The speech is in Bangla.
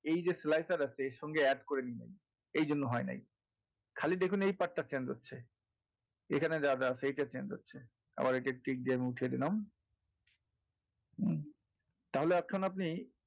এই যে slicer আছে এর সঙ্গে add করে নিবেন এইজন্য হবে নাই খালি দেখুন এই part টা change হচ্ছে এখানে যা আছে সেইটা change হচ্ছে আবাএ এইটা tick দিয়ে উঠিয়ে দিলাম তাহলে একখানা আপনি,